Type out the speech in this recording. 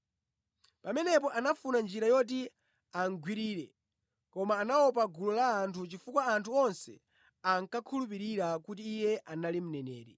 Pamenepo anafuna njira yoti amugwirire, koma anaopa gulu la anthu chifukwa anthu onse ankakhulupirira kuti Iye anali mneneri.